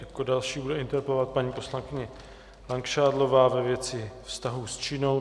Jako další bude interpelovat paní poslankyně Langšádlová ve věci vztahu s Čínou.